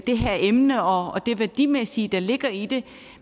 det her emne og det der værdimæssigt ligger i det